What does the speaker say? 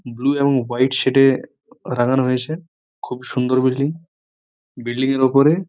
blue এবং white shade -এ অ রাঙানো হয়েছে খুব সুন্দর বিল্ডিং বিল্ডিং এর ওপরে --